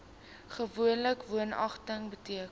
gewoonlik woonagtig beteken